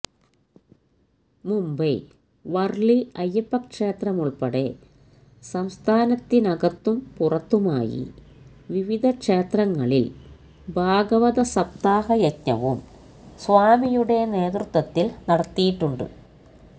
മുംബൈ വര്ളി അയ്യപ്പക്ഷേത്രമുള്പ്പെടെ സംസ്ഥാനത്തിനകത്തും പുറത്തുമായി വിവിധ ക്ഷേത്രങ്ങളില് ഭാഗവത സപ്താഹയജ്ഞവും സ്വാമിയുടെ നേതൃത്വത്തില് നടത്തിയിട്ടുണ്ട്